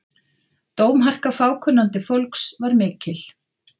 Dómharka fákunnandi fólks var mikil.